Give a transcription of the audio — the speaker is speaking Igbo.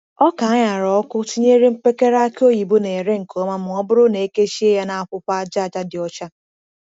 Oka a ṅara ọkụ tinyere mpekere aki oyibo na-ere nke ọma ma ọ bụrụ na e kechie ya n’akwụkwọ aja aja dị ọcha.